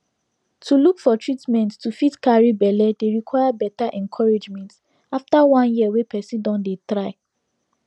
to look for treatment to fit carry belle dey require better encouragement after one year wey person don dey try